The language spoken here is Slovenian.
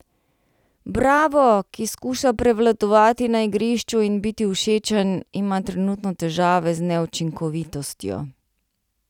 Bravo, ki skuša prevladovati na igrišču in biti všečen, ima trenutno težave z neučinkovitostjo.